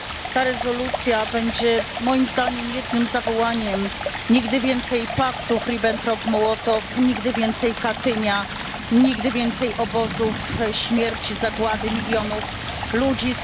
Ta rezolucja będzie moim zdaniem jednym zawołaniem Nigdy więcej paktów Ribbentrop Mołotow, nigdy więcej Katynia, nigdy więcej obozów śmierci, zagłady milionów ludzi!